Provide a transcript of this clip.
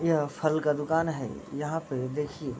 यह फल का दुकान है यहाँ पे देखिऐ।